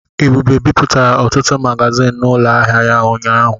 Ebube bipụtara ọtụtụ magazịn n'ụlọ ahịa ya ụnyaahụ.